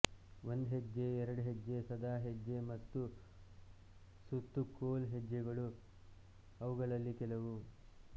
ಒಂದ್ಹೆಜ್ಜೆ ಎರಡ್ಹೆಜ್ಜೆ ಸಾದಾ ಹೆಜ್ಜೆ ಮತ್ತು ಸುತ್ತು ಕೋಲ್ ಹೆಜ್ಜೆಗಳು ಅವುಗಳಲ್ಲಿ ಕೆಲವು